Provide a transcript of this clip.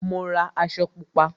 Mo ra aṣọ Pupa